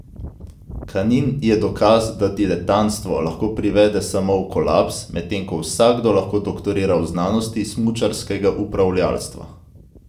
Kanin je dokaz, da diletanstvo lahko privede samo v kolaps, medtem ko vsakdo lahko doktorira v znanosti smučarskega upravljavstva.